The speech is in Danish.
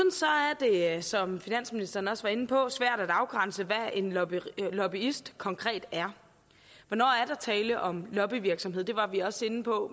er det som finansministeren også var inde på svært at afgrænse hvad en lobbyist lobbyist konkret er hvornår er der tale om lobbyvirksomhed det var vi også inde på